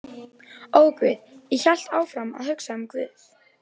Og guð, ég hélt áfram að hugsa um guð.